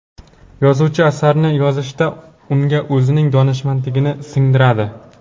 Yozuvchi asarni yozishda, unga o‘zining donishmandligini singdiradi.